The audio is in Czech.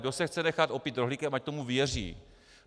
Kdo se chce nechat opít rohlíkem, ať tomu věří.